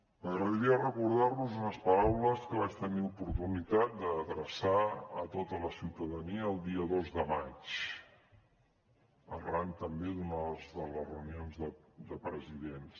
m’agradaria recordar los unes paraules que vaig tenir oportunitat d’adreçar a tota la ciutadania el dia dos de maig arran també d’una de les reunions de presidents